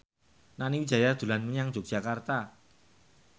Nani Wijaya dolan menyang Yogyakarta